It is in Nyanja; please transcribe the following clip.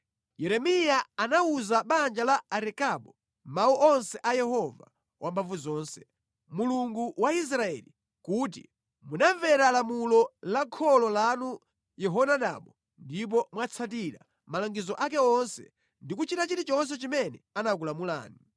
Yeremiya anawuza banja la Arekabu mawu onse a Yehova Wamphamvuzonse, Mulungu wa Israeli, kuti, “Munamvera lamulo la kholo lanu Yehonadabu ndipo mwatsatira malangizo ake onse ndi kuchita chilichonse chimene anakulamulani.”